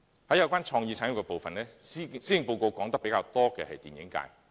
在有關創意產業的部分，施政報告說得較多的是電影界。